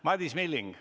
Madis Milling.